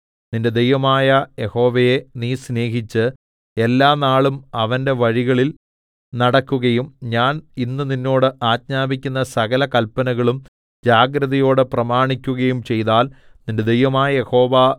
നിന്റെ ദൈവമായ യഹോവയെ നീ സ്നേഹിച്ച് എല്ലാനാളും അവന്റെ വഴികളിൽ നടക്കുകയും ഞാൻ ഇന്ന് നിന്നോട് ആജ്ഞാപിക്കുന്ന സകല കല്പനകളും ജാഗ്രതയോടെ പ്രമാണിക്കുകയും ചെയ്താൽ നിന്റെ ദൈവമായ യഹോവ